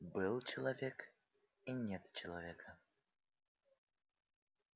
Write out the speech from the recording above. был человек и нет человека